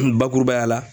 Bakurubaya la